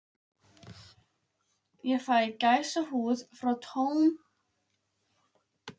Um kvöldið gat ég varla sofnað.